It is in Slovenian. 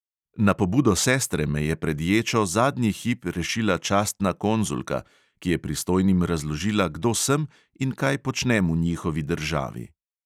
Na pobudo sestre me je pred ječo zadnji hip rešila častna konzulka, ki je pristojnim razložila, kdo sem in kaj počnem v njihovi državi.